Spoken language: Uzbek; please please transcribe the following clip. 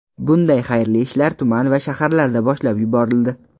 Bunday xayrli ishlar tuman va shaharlarda boshlab yuborildi.